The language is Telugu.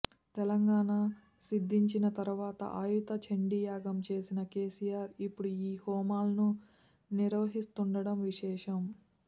తెలంగాణ సిద్ధించిన తర్వాత అయుత చండీయాగం చేసిన కెసిఆర్ ఇప్పుడు ఈ హోమాలను నిర్వహిస్తుండడం విశేషం